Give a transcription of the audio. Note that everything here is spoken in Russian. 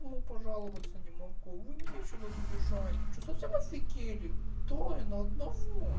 ну пожаловаться не могу вы меня ещё тут обижаете что совсем офигели трое на одного